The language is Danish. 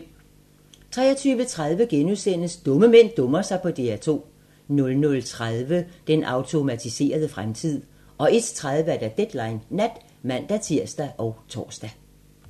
23:30: Dumme mænd dummer sig på DR2 * 00:30: Den automatiserede fremtid 01:30: Deadline Nat (man-tir og tor)